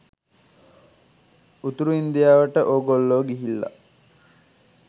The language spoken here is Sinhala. උතුරු ඉන්දියාවට ඕගොල්ලෝ ගිහිල්ල